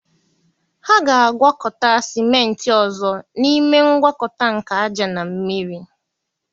Ha ga-agwakọta sịmentị ọzọ n'ime ngwakọta nke ájá na mmiri